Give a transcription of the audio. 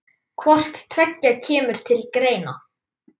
Hvort tveggja kemur til greina.